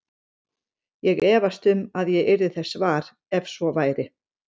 Ég efast um að ég yrði þess var, ef svo væri